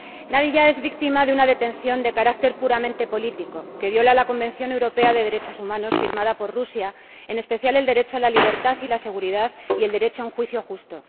Nadiya es víctima de una detención de carácter puramente político que viola el Convenio Europeo de Derechos Humanos, firmado por Rusia, en especial el derecho a la libertad y la seguridad y el derecho a un juicio justo.